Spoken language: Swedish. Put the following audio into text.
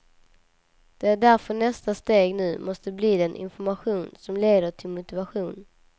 Det är därför nästa steg nu måste bli den information som leder till motivation.